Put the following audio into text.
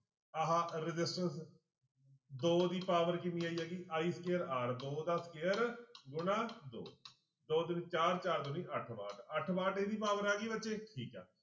ਆਹ resistance ਦੋ ਦੀ power ਕਿੰਨੀ ਆਈ ਹੈਗੀ i square r ਦੋ ਦਾ square ਗੁਣਾ ਦੋ ਦੋ ਦੁਣੀ ਚਾਰ, ਚਾਰ ਦੁਣੀ ਅੱਠ ਵਾਟ ਅੱਠ ਵਾਟ ਇਹਦੀ power ਆ ਗਈ ਬੱਚੇ ਠੀਕ ਹੈ